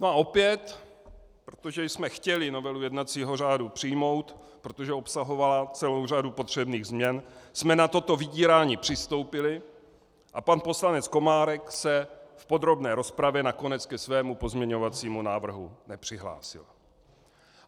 No a opět, protože jsme chtěli novelu jednacího řádu přijmout, protože obsahovala celou řadu potřebných změn, jsme na toto vydírání přistoupili a pan poslanec Komárek se v podrobné rozpravě nakonec ke svému pozměňovacímu návrhu nepřihlásil.